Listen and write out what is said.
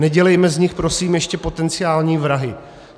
Nedělejme z nich prosím ještě potenciální vrahy.